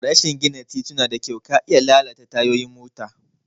Rashi gina tituna da kyau ka iya lalata tayoyin mota.